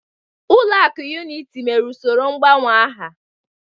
Ulọ akụ Unity mere usoro ngbanwe aha.